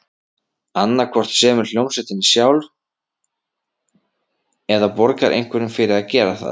Annað hvort semur hljómsveitin sjálf, eða borgar einhverjum fyrir að gera það.